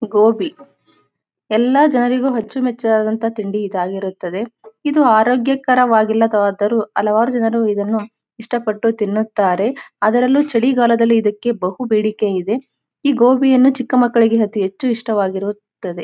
ಗೋಬಿ ಎಲ್ಲ ಜನರಿಗೂ ಅಚ್ಚು ಮೆಚ್ಚಾದ ತಿಂಡಿ ಇದಾಗಿರುತ್ತದೆ. ಇದು ಆರೋಗ್ಯಕರವಾಗಿಲ್ಲವಾದರೂ ಹಲವಾರು ಜನರು ಇದನ್ನು ಇಷ್ಟಪಟ್ಟು ತಿನ್ನುತ್ತಾರೆ. ಅದರಲ್ಲೂ ಚಳಿ ಕಾಲದಲ್ಲಿ ಇದಕ್ಕೆ ಬಹು ಬೇಡಿಕೆ ಇದೆ. ಈ ಗೋಬಿಯನ್ನು ಚಿಕ್ಕ ಮಕ್ಕಳಿಗೆ ಹೆಚ್ಚು ಇಷ್ಟವಾಗುತ್ತದೆ.